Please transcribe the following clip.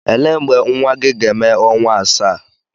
Ele mgbe nwa gị ga-eme ọnwa asaa?